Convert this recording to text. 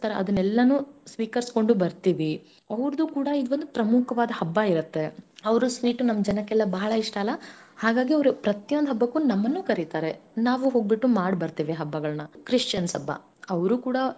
ಅದನ್ನೆಲನು ಸ್ವೀಕರಿಸಿ ಕೊಂಡು ಬರ್ತಿವಿ ಅವರದು ಕೂಡ ಇವಂದುಪ್ರಮುಖವಾದ ಹಬ್ಬ ಇರತ್ತೆ ಅವ್ರು sweet ನಮ್ಮ ಜನಕ್ಕೆ ಎಲ್ಲ ಬಹಳ ಇಷ್ಟ ಅಲ್ಲಾ ಹಾಗಾಗಿ ಅವರು ಪ್ರತಿಯೊಂದ ಹಬ್ಬಕ್ಕೂನು ನಮ್ಮನ್ನು ಕರೀತಾರೆ, ನಾವು ಹೋಗ್ಬಿಟ್ಟು ಮಾಡಬರ್ತೇವಿ ಹಬ್ಬಗಳನ್ನ, Christians ಹಬ್ಬಾ, ಅವರು ಕೂಡ.